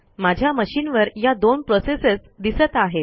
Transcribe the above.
माझ्या मशिनवर या दोन प्रोसेसेस दिसत आहेत